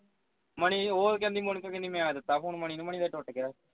money ਉਹ ਤੇ ਕਹਿੰਦੀ ਮੋਨਿਕਾ ਕਹਿੰਦੀ ਮੈਂ ਦਿੱਤਾ phone ਮਨੀ ਨੂੰ ਮਨੀ ਉਸ ਦਾ ਟੁੱਟ ਗਿਆ phone